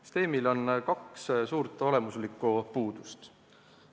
Süsteemil on kaks suurt olemuslikku puudust.